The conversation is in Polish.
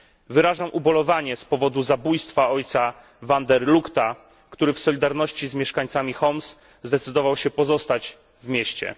Wyrażam ubolewanie z powodu zabójstwa ojca van der Lugta, który w solidarności z mieszkańcami Homs zdecydował się pozostać w mieście.